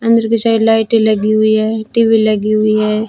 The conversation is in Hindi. अंदर की साइड लाइटे लगी हुई है टी_वी लगी हुई है।